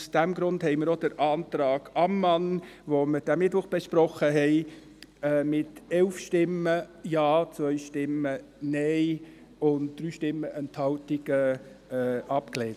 Aus diesem Grund haben wir auch den Antrag Ammann, den wir diesen Mittwoch besprochen haben, mit 11 Ja-Stimmen gegen 2 Nein-Stimmen bei 3 Enthaltungen abgelehnt.